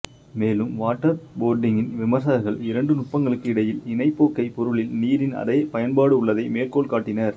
மேலும் வாட்டர்போர்டிங்கின் விமர்சகர்கள் இரண்டு நுட்பங்களுக்கு இடையில் இணைப்போக்கை பொருளில் நீரின் அதே பயன்பாடு உள்ளதைத் மேற்கோள் காட்டினர்